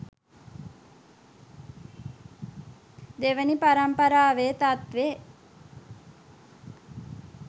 දෙවනි පරම්පරාවෙ තත්වෙ